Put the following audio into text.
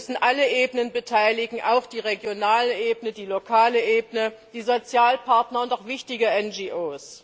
Wir müssen alle Ebenen beteiligen, auch die regionale Ebene, die lokale Ebene, die Sozialpartner und auch wichtige NGO.